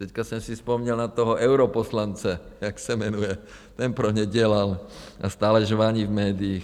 - Teď jsem si vzpomněl na toho europoslance, jak se jmenuje, ten pro ně dělal a stále žvaní v médiích.